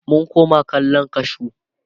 mun Kona kwallan kashu